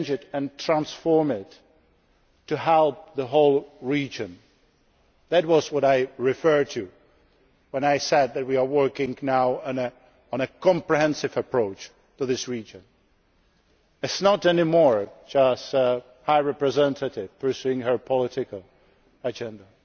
and transform it in order to help the whole region. That is what I referred to when I said that we are working now on a comprehensive approach to this region. It is no longer just a matter of the High Representative pursuing her political agenda,